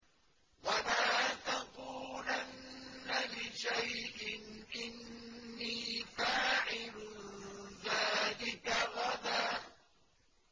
وَلَا تَقُولَنَّ لِشَيْءٍ إِنِّي فَاعِلٌ ذَٰلِكَ غَدًا